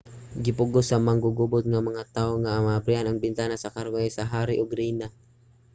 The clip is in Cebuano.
gipugos sa manggugubot nga mga tawo nga maabrihan ang bintana sa karwahe sa hari ug rayna